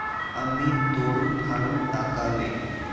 आम्ही तोडून फोडून टाकावे.